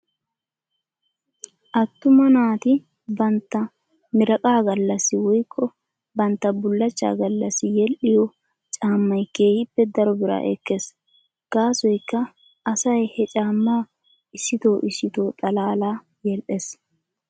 Attuma naati bantta 'miraqqa' gallassi woykko bantta bullachcha gallassi yedhdhiyoo caammay keehippe daro biraa ekkes. Gaasoykka asay he caammaa issito issito xalaala yedhdhes.